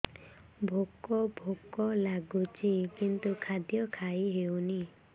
ଭୋକ ଭୋକ ଲାଗୁଛି କିନ୍ତୁ ଖାଦ୍ୟ ଖାଇ ହେଉନି